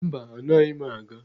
Mba, anaghị m aga.